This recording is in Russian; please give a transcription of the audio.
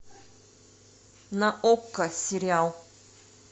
на окко сериал